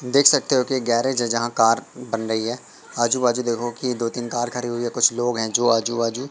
देख सकते हो कि गैरेज है जहां कार बन रही है। आजू-बाजू देखो की दो तीन कार खड़ी हुई है कुछ लोग है जो आजू-बाजू--